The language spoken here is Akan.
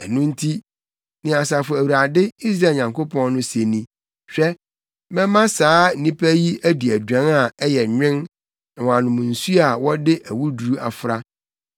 Ɛno nti, nea Asafo Awurade, Israel Nyankopɔn no se ni: “Hwɛ, mɛma saa nnipa yi adi aduan a ɛyɛ nwen na wɔanom nsu a wɔde awuduru afra.